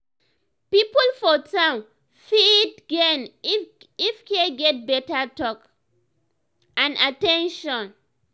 people for town fit gain if care get better talk and at ten tion.